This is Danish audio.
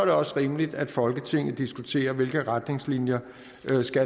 det også rimeligt at folketinget diskuterer hvilke retningslinjer